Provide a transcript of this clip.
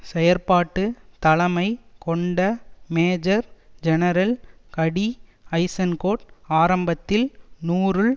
செயற்பாட்டு தலைமை கொண்ட மேஜர் ஜெனரல் கடி ஐசென்கோட் ஆரம்பத்தில் நூறுல்